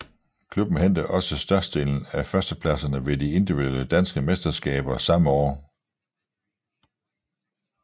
Klubben hentede også størstedelen af førstepladserne ved de individuelle danske mesterskaber samme år